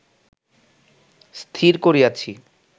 স্থির করিয়াছি